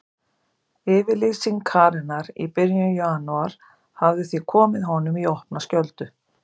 Yfirlýsing Karenar í byrjun janúar hafði því komið honum í opna skjöldu.